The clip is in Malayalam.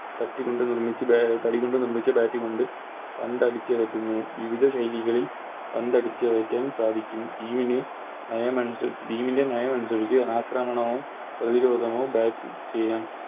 പട്ടി കൊണ്ട് നിർമ്മിച്ച് ബ തടികൊണ്ട് നിർമ്മിച്ച Bat കൊണ്ട് പന്ത് അടിച്ചകറ്റുന്നു വിവിധ ശൈലികളിൽ പന്ത് അടിച്ചകറ്റാൻ സാധിക്കും ഈയൊരു നയമനുസരിച്ച് Team ൻറെ നയമനുസരിച്ച് Bat ചെയ്യാൻ